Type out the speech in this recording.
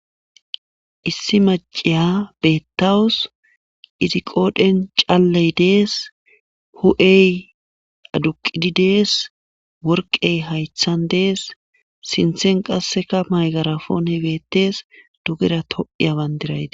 Issi maciya bettawus izi qoodhen caalley dees hu'ey aduqidi dees worqey haythan dees sinthen qasseka maygarafoone bettees dugera to'iy aban dirayti